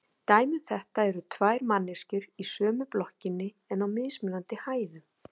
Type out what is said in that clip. Dæmi um þetta eru tvær manneskjur í sömu blokkinni en á mismunandi hæðum.